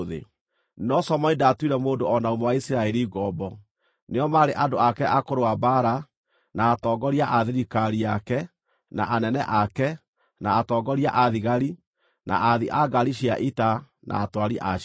No Solomoni ndaatuire mũndũ o na ũmwe wa Isiraeli ngombo; nĩo maarĩ andũ ake a kũrũa mbaara, na atongoria a thirikari yake, na anene ake, na atongoria a thigari, na aathi a ngaari cia ita, na atwari a cio.